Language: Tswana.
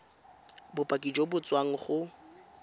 bopaki jo bo tswang go